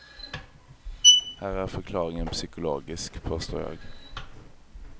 Här är förklaringen psykologisk, påstår jag.